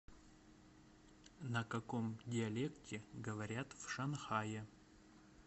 на каком диалекте говорят в шанхае